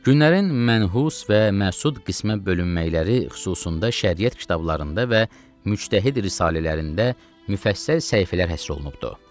Günlərin mənhus və məsud qismə bölünmələri xususunda Şəriət kitablarında və Müctəhid risalələrində müfəssəl səhifələr həsr olunubdur.